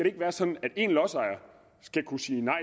ikke være sådan at en lodsejer skal kunne sige nej